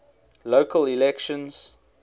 local elections